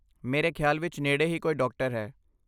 ਮੇਰੇ ਖਿਆਲ ਵਿਚ ਨੇੜੇ ਹੀ ਕੋਈ ਡਾਕਟਰ ਹੈ।